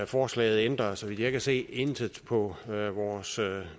forslaget ændrer så vidt jeg kan se intet på vores